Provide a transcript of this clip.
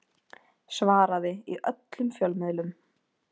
Svaraði í öllum fjölmiðlum